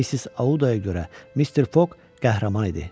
Missis Audaya görə Mister Fok qəhrəman idi.